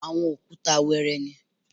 Àwọn òkúta wẹẹrẹ ni